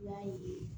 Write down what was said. I b'a ye